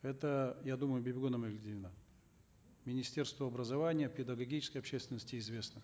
это я думаю бибигуль амангельдиевна министерству образования педагогической общественности известно